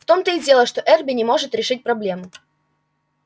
в том-то и дело что эрби не может решить проблему